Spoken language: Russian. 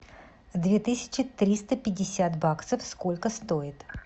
две тысячи триста пятьдесят баксов сколько стоит